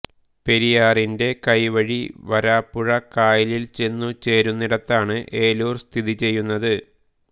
പെരിയാറിന്റെ കൈവഴി വരാപ്പുഴ കായലിൽ ചെന്നു ചേരുന്നിടത്താണ് ഏലൂർ സ്ഥിതിചെയ്യുന്നത്